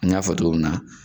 An ya fɔ togo min na